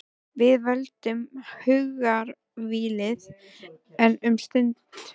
Við völdum hugarvílið, enn um stund.